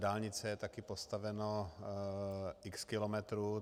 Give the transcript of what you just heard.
Dálnice je taky postaveno x kilometrů.